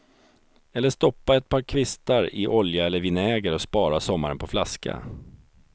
Eller stoppa ett par kvistar i olja eller vinäger och spara sommaren på flaska.